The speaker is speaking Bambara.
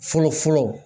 Fɔlɔ fɔlɔ